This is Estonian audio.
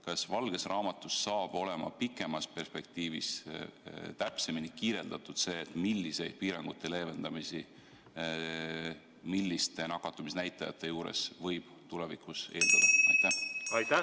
Kas valges raamatus saab olema pikemas perspektiivis täpsemini kirjeldatud, milliseid piirangute leevendamisi milliste nakatumisnäitajate korral võib tulevikus eeldada?